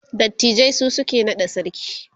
dattijai su suke naɗa sarki